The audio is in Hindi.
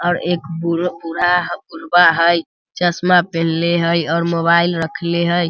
और एक बूढ़ा बुढ़वा हई | चश्मा पहिनले हई और मोबाइल रखले हई।